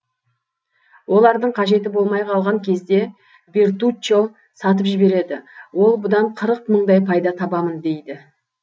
олардың қажеті болмай қалған кезде бертуччо сатып жібереді ол бұдан қырық мыңдай пайда табамын дейді